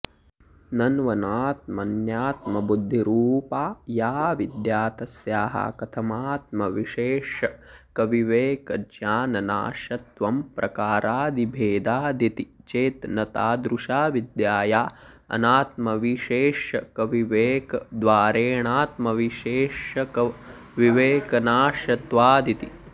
नन्वनात्मन्यात्मबुद्धिरूपा याऽविद्या तस्याः कथमात्मविशेष्यकविवेकज्ञाननाश्यत्वं प्रकारादिभेदादिति चेत् न तादृशाविद्याया अनात्मविशेष्यकविवेकद्वारेणात्मविशेष्यकविवेकनाश्यत्वादिति